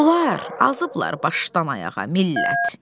Bunlar azıblar başdan ayağa millət.